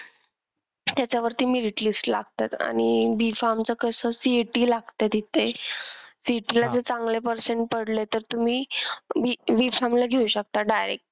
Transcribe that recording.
त्याच्यावरती merit list लागतात आणि B farm चा कस CET लागते तिथे CET ला जर चांगले percent पडले तर तुम्ही B farm ला घेऊ शकता direct.